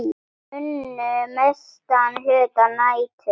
Unnu mestan hluta nætur.